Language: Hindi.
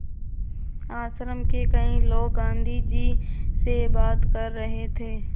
आश्रम के कई लोग गाँधी जी से बात कर रहे थे